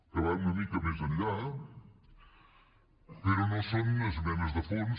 que va una mica més enllà però no són esmenes de fons